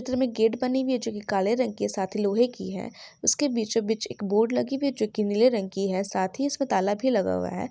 --त्र में गेट बनी हुई हैं जो की काले रंग की है साथ ही लोहे की हैं उसके बीचो बीचो एक बोर्ड लगी हुई है जो की नील रंग की हैं साथ ही उसमें ताला भी लगा हुआ हैं।